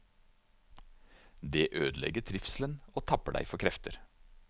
Det ødelegger trivselen og tapper deg for krefter.